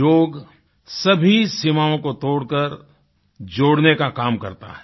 योग सभी सीमाओं को तोड़करजोड़ने का काम करता है